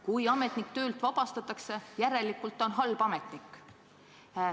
Kui ametnik töölt vabastatakse, järelikult on ta halb ametnik.